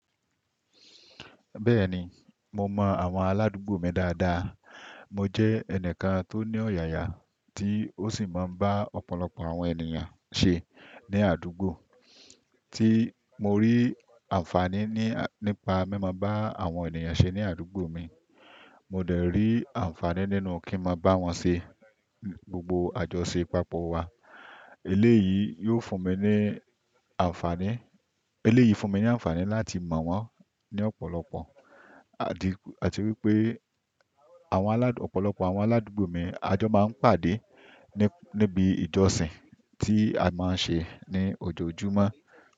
Bẹ́ẹ̀ni, mo mọ àwọn aládùúgbò mi dáadáa. Mo jẹ́ ẹnìkan tó ní ọ̀yàyà, tí ó sì máa ń bá ọ̀pọ̀lọpọ̀ àwọn ènìyàn ṣe ní àdúgbò. Tí mo rí àǹfàní nípa bí mo bá àwọn ènìyàn ṣe ní àdúgbò mi, mo dẹ̀ rí àǹfàní nínú kí máa bá wọn ṣe gbogbo àjọṣepápọ̀ wa. Eléyìí yóò fún mi ní àǹfàní, eléyìí fún mi ní àǹfàní láti mọ̀ wọ́n ní ọ̀pọ̀lọpọ̀. Àti wípé àwọn aládùú, ọ̀pọ̀lọpọ̀ àwọn aládùúgbò mi, àjọ máa ń pàdé níbi ìjọsìn tí a máa ń ṣe ní ojoojúmọ́.